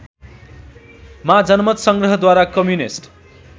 मा जनमतसंग्रहद्वारा कम्युनिस्ट